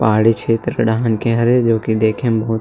पहाड़ी छेत्र ओ डहन के हरे जो कि देखे म बहुत